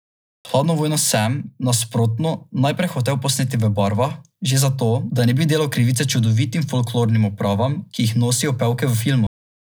Hladno vojno sem, nasprotno, najprej hotel posneti v barvah, že zato, da ne bi delal krivice čudovitim folklornim opravam, ki jih nosijo pevke v filmu.